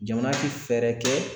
Jamana ti fɛɛrɛ kɛ